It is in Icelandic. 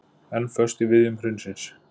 Enn föst í viðjum hrunsins